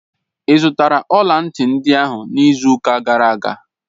Ị zụtara ọla ntị ndị ahụ n'izu ụka gara aga?